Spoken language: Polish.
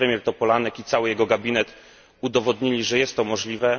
Pan premier Topolanek i cały jego gabinet udowodnili, że jest to możliwe.